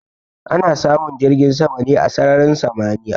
Ana samun jirgin sama ne a sararin samaniya.